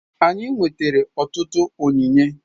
Anyị nwetara ọtụtụ onyinye